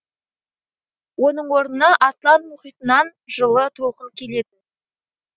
оның орнына атлант мұхитынан жылы толқын келетін